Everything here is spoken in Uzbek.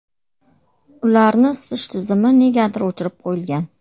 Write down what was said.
Ularni isitish tizimi negadir o‘chirib qo‘yilgan.